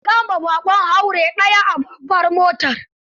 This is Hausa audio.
An kama ɓaƙon haure ɗaya a babbar motar.